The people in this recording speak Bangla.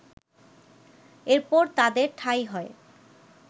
এরপর তাদের ঠাঁই হয়